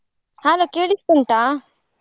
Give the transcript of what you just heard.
Hello ಕೇಳಿಸ್ತ ಉಂಟಾ?